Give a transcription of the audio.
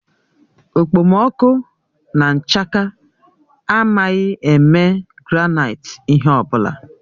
Okpomọkụ na nchaka amaghị eme granaịti ihe ọ bụla.